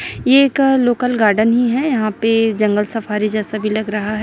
ये एक local garden ही है यहां पे जंगल सफारी जैसा भी लग रहा है।